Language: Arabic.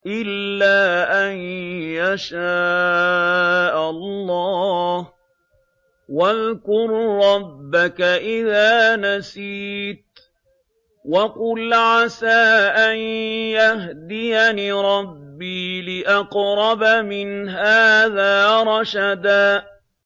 إِلَّا أَن يَشَاءَ اللَّهُ ۚ وَاذْكُر رَّبَّكَ إِذَا نَسِيتَ وَقُلْ عَسَىٰ أَن يَهْدِيَنِ رَبِّي لِأَقْرَبَ مِنْ هَٰذَا رَشَدًا